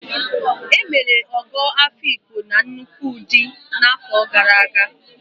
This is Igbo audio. E mere Ọgọ Afiikpo na nnukwu ụdị n'afọ gara aga.